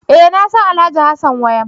E! Nasan Alhj. Hassan Wayam.